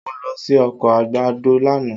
Mo lọ sí oko àgbàdo lánàá